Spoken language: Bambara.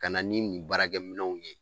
Ka na ni nin baara kɛminɛnw ye